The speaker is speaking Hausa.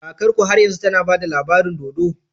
Kakarku har yanzu tAna bada labarin dodo?